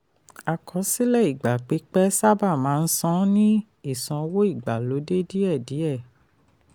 àkọsílẹ̀ ìgbà pípẹ́ sábà máa ń san ní ìsanwó ìgbàlódé díẹ̀ díẹ̀.